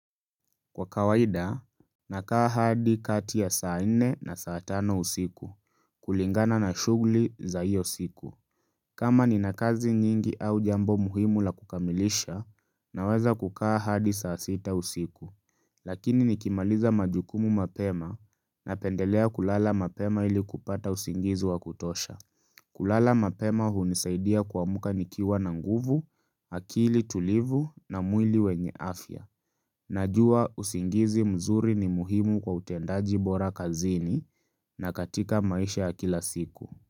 Kwa kawaida, ninakaa hadi kati ya saa nne na saa tano usiku, kulingana na shughuli za hiyo siku. Kama nina kazi nyingi au jambo muhimu la kukamilisha, ninaweza kukaa hadi saa sita usiku. Lakini nikimaliza majukumu mapema, ninapendelea kulala mapema ili kupata usingizi wa kutosha. Kulala mapema hunisaidia kuamka nikiwa na nguvu, akili tulivu na mwili yenye afya. Najua usingizi mzuri ni muhimu kwa utendaji bora kazini na katika maisha ya kila siku.